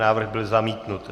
Návrh byl zamítnut.